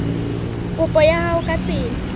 kopo ya hao ka tsela